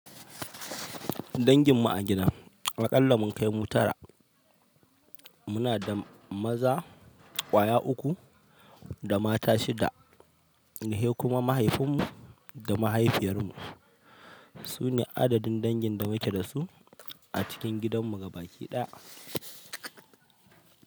Dangin mu a gida a ƙalla mun kai mu tara muna da maza ƙwaya uku da mata shida. Sai kuma mahaifin mu da mahaifiyar mu su ne adadin dangin da muke dasu a cikin gidanmu gabaki ɗaya.